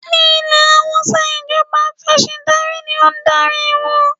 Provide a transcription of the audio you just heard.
Ní ilẹ̀ Hausa ìjọba Afẹ̀sìndarí ní o ń darí wọn.